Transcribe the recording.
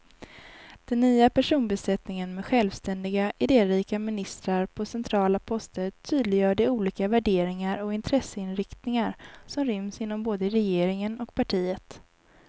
Den nya personbesättningen med självständiga, idérika ministrar på centrala poster tydliggör de olika värderingar och intresseinriktningar som ryms inom både regeringen och partiet.